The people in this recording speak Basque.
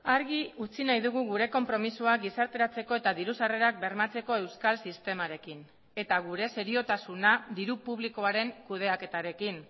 argi utzi nahi dugu gure konpromisoa gizarteratzeko eta diru sarrerak bermatzeko euskal sistemarekin eta gure seriotasuna diru publikoaren kudeaketarekin